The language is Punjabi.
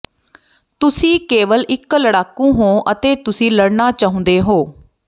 ਤੁਸੀਂ ਕੇਵਲ ਇੱਕ ਲੜਾਕੂ ਹੋ ਅਤੇ ਤੁਸੀਂ ਲੜਨਾ ਚਾਹੁੰਦੇ ਹੋ